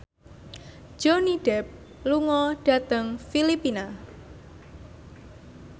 Johnny Depp lunga dhateng Filipina